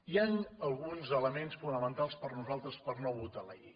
hi han alguns elements fonamentals per nosaltres per no votar la llei